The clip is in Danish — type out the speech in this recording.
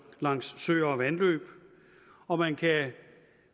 langs søer og vandløb og man kan